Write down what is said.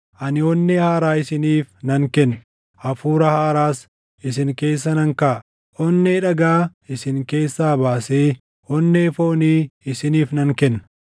Ani onnee haaraa isiniif nan kenna; hafuura haaraas isin keessa nan kaaʼa; onnee dhagaa isin keessaa baasee onnee foonii isiniif nan kenna.